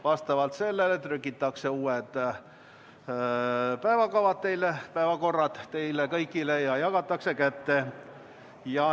Vastavalt sellele trükitakse uued päevakorrad ja jagatakse teile kõigile kätte.